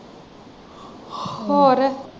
ਹੋਰ।